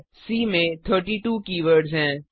सी में 32 कीवर्ड्स हैं